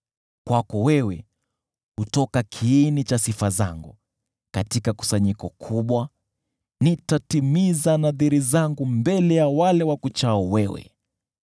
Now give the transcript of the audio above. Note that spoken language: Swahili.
Kwako wewe hutoka kiini cha sifa zangu katika kusanyiko kubwa, nitatimiza nadhiri zangu mbele ya wale wakuchao wewe.